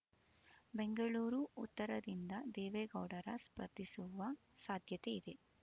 ಬೆಂಗಳೂರು ಉತ್ತರದಿಂದ ದೇವೇಗೌಡರ ಸ್ಪರ್ಧಿಸುವ ಸಾಧ್ಯತೆ ಇದೆ